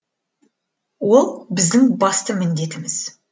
ол біздің басты міндетіміз